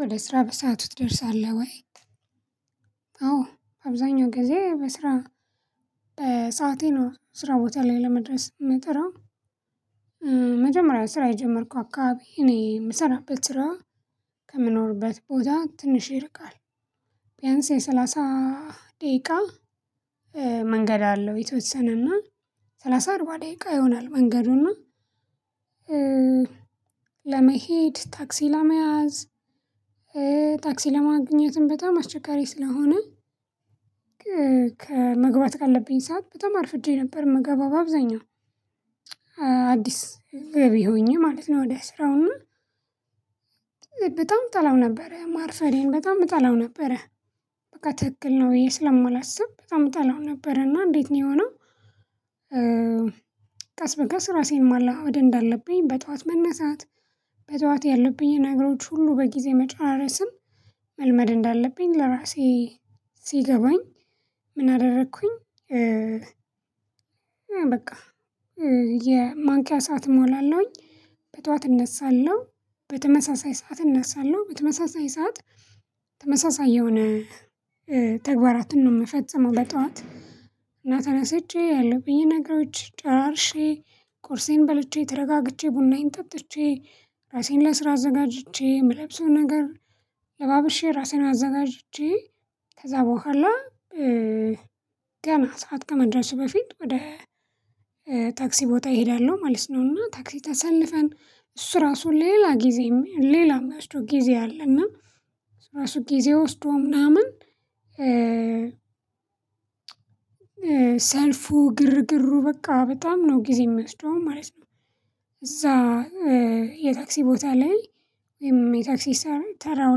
ወደ ስራ በሰአቱ ትደርሳለህ ወይት? አዎ አብዛኛው ጊዜ በስራ ሰዓቴ ነው ስራ ቦታ ላይ ለመድረስ የምጥረው። መጀመሪያ ስራ የጀመርኩ አካባቢ እኔ የምሰራበት ስራ ከምኖርበት ቦታ ትንሽ ይርቃል ቢያንስ የሰላሳ ደቂቃ መንገድ አለው የተወሰነና ሰላሳ አርባ ደቂቃ ይሆናል። መንገዱን እና ለመሄድ ታክሲ ለመያዝ ታክሲ ለማግኘትም በጣም አስቸጋሪ ስለሆነ ከመግባት ካለብኝ ሰዓት በጣም አርፍጄ ነበር። ምገባው አብዛኛው አዲስ ገቢ ሆኜ ማለት ነው። ወደ ስራው እና በጣም እጠላው ነበር ማርሳፈዴን በጣም እጠላው ነበረ። በቃ ትክክል ነው ብዬ ስለማላስብ በጣም እጠላው ነበር። እና እንዴት ነው የሆነው? ቀስ በቀስ ራሴን ማላወድ እንዳለብኝ በጠዋት መነሳት በጠዋት ያለብኝን ነገሮች ሁሉ በጊዜ መጨራረስም መልመድ እንዳለብኝ ለራሴ ሲገባኝ ምን አደረኩኝ? በቃ የማንቂያ ሰዓት እሞላለሁኝ በጧት እነሳለሁ በተመሳሳይ ሰዓት እነሳለሁ በተመሳሳይ ሰዓት። ተመሳሳይ የሆነ ተግባራትን ነው የምፈጽመው። በጧት እና ተነስቼ ያለብኝን በየነገሮች ጨራርሼ ቁርሴን በልቼ ተረጋግቼ ቡናዬን ጠጥቼ ራሴን ለስራ አዘጋጅቼ የምለብሰው ነገር ለባብሼ ራሴን አዘጋጅቼ ከዛ በኋላ። ገና ሰዓት ከመድረሱ በፊት ወደ ታክሲ ቦታ እሄዳለሁ ማለት ነውና። ታክሲ ተሰልፈን እሱ ራሱ ሌላ ጊዜ ሌላ የሚያስደው ጊዜ አለ። እና ራሱ ጊዜ ወስዶ ምናምን ሰልፉ ግርግር በቃ በጣም ነው ጊዜ የሚያስደውም ማለት ነው። እዛ የታክሲ ቦታ ላይ የታክሲ ተራው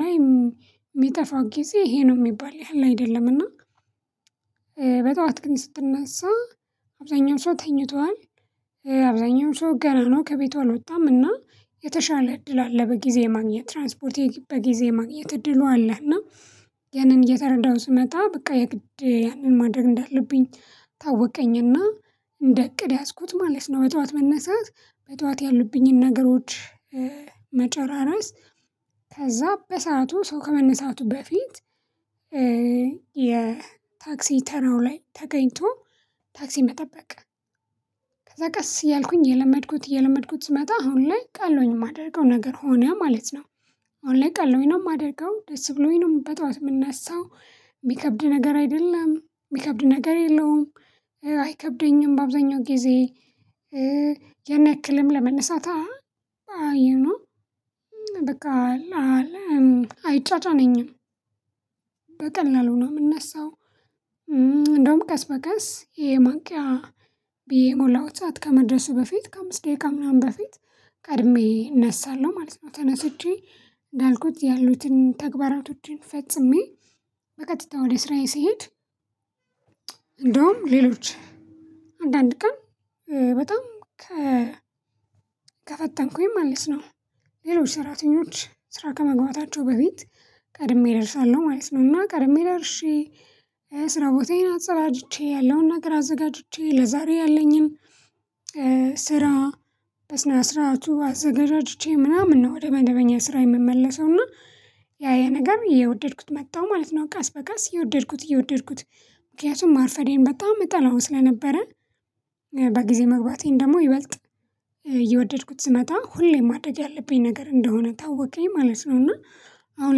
ላይ የሚጠፋው ጊዜ ይሄ ነው የሚባል ያህል አይደለምና። በጧት ግን ስትነሳ አብዛኛው ሰው ተኝቷል። አብዛኛው ሰው ገና ነው ከቤቷ አልወጣምና የተሻለ እድል አለ በጊዜ ማግኘት ትራንስፖርት በጊዜ ማግኘት እድሉ አለ። እና ያንን እየተረዳው ስመጣ በቃ የግድ ያንን ማድረግ እንዳለብኝ ታወቀኝና እንደ እቅድ ያዝኩት ማለት ነው። በጠዋት መነሳት በጠዋት ያሉብኝን ነገሮች መጨራረስ ከዛ በሰአቱ ሰው ከመነሳቱ በፊት የታክሲ ተራው ላይ ተገኝቶ ታክሲ መጠበቅ። ከዛ ቀስ እያልኩኝ የለመድኩት እየለመድኩት ስመጣ አሁን ላይ ቃሎኝ የማደርገው ነገር ሆነ ማለት ነው። አሁን ላይ ቀሎኝ ነው የማደርገው ደስ ብሎኝ ነው በጧት የምነሳው የሚከብድ ነገር አይደለም የሚከብድ ነገር የለውም። አይከብደኝም በአብዛኛው ጊዜ ያን የሰክልም ለመነሳት አይ ዩ ኖው በቃ አለም አይጫጫኝም በቀላሉ ነው የምነሳው። እንደውም ቀስ በቀስ የማንቂያ ብየ የሞላው ሰዓት ከመድረሱ በፊት ከአምስት ደቂቃ ምናምን በፊት ከእድሜ እነሳለሁ ማለት ነው። ተነስቼ እንዳልኩት ያሉትን ተግባራቶችን ፈጽሜ በቀጥታ ወደ ስራዬ ስሄድ። እንደውም ሌሎች አንዳንድ ቀን በጣም ከፈተንኩኝ ማለት ነው። ሌሎች ሰራተኞች ስራ ከመግባታቸው በፊት ቀድሜ ደርሻለሁ ማለት ነው። እና ቀድሜ ደርሼ ስራ ቦታዬን አጸዳድቼ ያለውን ነገር አዘጋጅቼ ለዛሬ ያለኝን ስራ በስነ ስርዓቱ አዘገጃጅቼ ምናምን ነው ወደ መደበኛ ስራ የምመለሰው እና ያ ያ ነገር የወደድኩት መጣሁ ማለት ነው። ቀስ በቀስ የወደድኩት የወደድኩት ምክንያቱም ማርፈዴን በጣም እጠላሁ ስለነበረ። በጊዜ መግባቴን ደግሞ ይበልጥ የወደድኩት ስመጣ ሁሌም ማደግ ያለብኝ ነገር እንደሆነ ታወቀኝ ማለት ነው። እና አሁን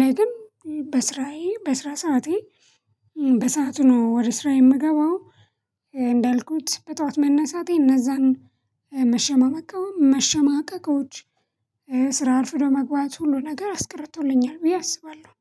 ላይ ግን በስራዬ በስራ ሰዓቴ በሰአቱ ነው ወደ ስራዬ የምገባው። እንዳልኩት በጧት መነሳቴ እነዛን መሸማቀቀውም መሸማቀቆች ስራ አርፍዶ ለመግባት ሁሉ ነገር አስቀርቶልኛል ብዬ አስባለሁ